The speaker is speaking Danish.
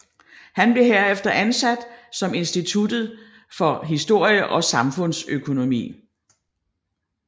Han blev herefter ansat ved Instituttet for Historie og Samfundsøkonomi